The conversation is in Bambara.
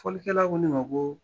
Folikɛla ko ne ma ko